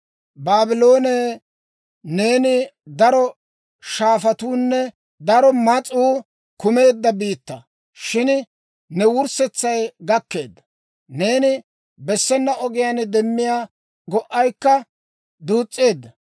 Baabloone, neeni daro shaafatuunne daro mas'uu kumeedda biittaa; shin ne wurssetsay gakkeedda; neeni bessena ogiyaan demiyaa go'aykka duus's'eedda.